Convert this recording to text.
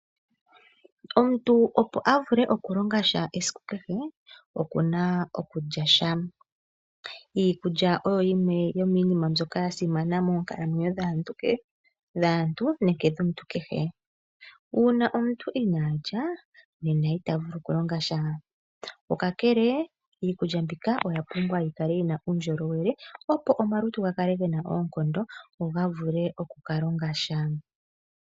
Omuntu opo a vule okulonga sha esiku kehe oku na okulya sha. Iikulya oyo yimwe yomiinima mbyoka ya simana moonkalamwenyo dhaantu nenge dhomuntu kehe. Uuna omuntu inaa lya nena ita vulu okulonga sha. Kakele iikulya mbika oya pumbwa yi kale yi na uundjolowele, opo omalutu ga kale ge na uundjolowele go ga vule oku ka longa sha.